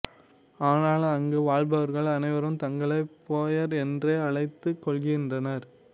ஆனால் அங்கு வாழ்பவர்கள் அனைவரும் தங்களை போயர் என்றே அழைத்துக் கொள்கின்றனர்